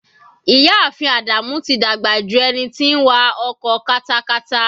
Ìyá ààfin Ádámù tí dàgbà ju ẹni tí ń wa ọkọ katakata.